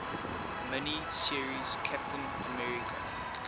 mini series captain america